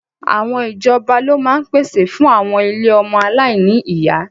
Àwọn ìjọba ló máa ń pèsè fún àwọn ilé ọmọ aláìní ìyá